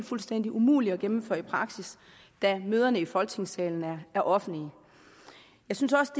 fuldstændig umuligt at gennemføre i praksis da møderne i folketingssalen er offentlige jeg synes også